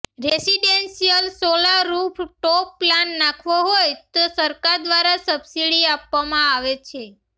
residential solar roof top plant નાખવો હોય તો સરકાર દ્વારા સબસીડી આપવામાં આવે છે